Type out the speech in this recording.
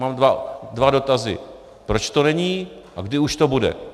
Mám dva dotazy: proč to není a kdy už to bude.